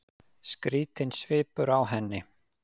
Skrýtinn svipur á henni.